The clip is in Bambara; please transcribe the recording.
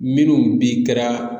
Minnu bi kɛra